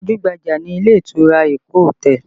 Gbajú-gbajà ni ilé ìtura Eko hotel